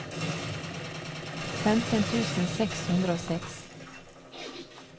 femten tusen seks hundre og seks